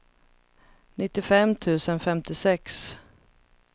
nittiofem tusen femtiosex